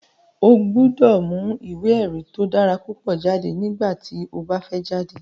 O gbọ́dọ̀ mu ìwé èrí tó dára púpọ̀ jáde nígbà tí o bá fẹ́ jáde